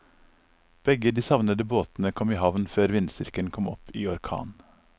Begge de savnede båtene kom i havn før vindstyrken kom opp i orkan.